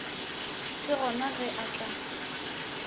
se gona ge a tla